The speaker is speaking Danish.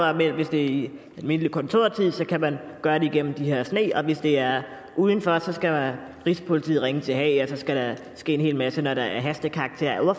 er men hvis det er i almindelig kontortid så kan man gøre det igennem det her sne og hvis det er uden for skal rigspolitiet ringe til haag og så skal der ske en hel masse når det er af hastekarakter er